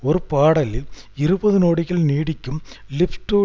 ஒரு பாடலில் இருபது நொடிகள் நீடிக்கும் லிப்ஸ் டூ